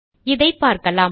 இதை பார்க்கலாம்